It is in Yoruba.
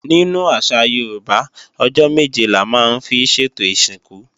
Nínú àṣà Yorùbá, ọjọ́ méje la máa ń fi sètò ìsìnkú.